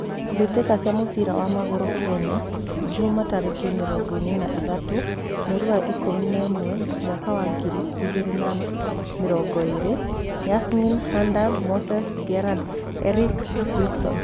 Mbitika cia mũbira wa magũrũ Kenya jumaa, tarekĩ mĩrongoirĩ na ithatũ, mweri wa ikũmi na ĩmwe mwaka wa ngiri ĩgirĩ na mĩrungũ ĩĩrĩ: Yasmin, Hander, Moses, Gerald, Erick, Wikson